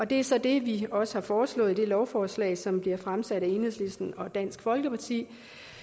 det er så det vi også har foreslået i det lovforslag som bliver fremsat af enhedslisten og dansk folkeparti